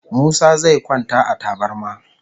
Musa zai kwanta a tabarma